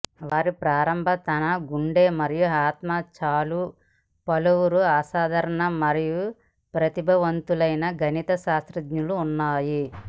వారి ప్రారంభ తన గుండె మరియు ఆత్మ చాలు పలువురు అసాధారణ మరియు ప్రతిభావంతులైన గణిత శాస్త్రజ్ఞులు ఉన్నాయి